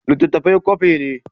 Littattafai kwafi ne.